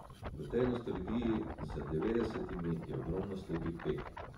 V tej nostalgiji za devetdesetimi je ogromno slepih peg.